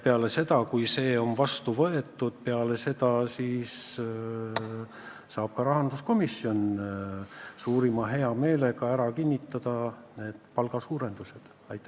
Ja kui see on seal heaks kiidetud, siis saab ka rahanduskomisjon suurima heameelega hääletada nende palgatõusude poolt.